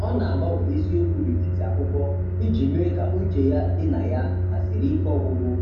Ọ na-agbanwe isiokwu n'etiti akwụkwọ iji mee ka uche ya dị na ya ma zere ike ọgwụgwụ.